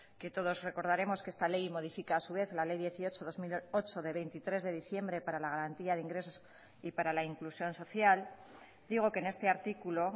que todos recordaremos que esta ley modifica a su vez la ley dieciocho barra dos mil ocho de veintitrés de diciembre para la garantía de ingresos y para la inclusión social digo que en este artículo